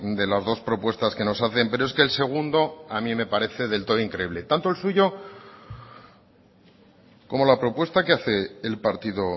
de las dos propuestas que nos hacen pero es que el segundo a mí me parece del todo increíble tanto el suyo como la propuesta que hace el partido